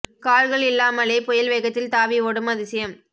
கால்கள் இல்லாமலே புயல் வேகத்தில் தாவி ஓடும் அதிசயம்